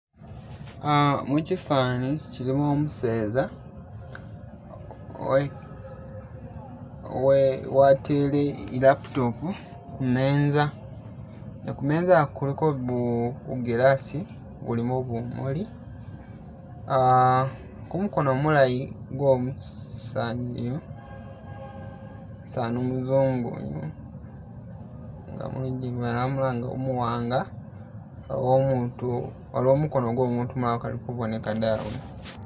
Ah mukifani kilimo umeseza, we we watele i'laptop kumeza nenga kumeza ku kuliko gu gu glass gulimo bumuli ah ku mukono mulayi gwo'musaani iyu umusaani umuzungu uyu, nga muli gamaamba nga umuwanga oba omutu, waliwo mukono gwo'mutu ukali kuboneka dawe.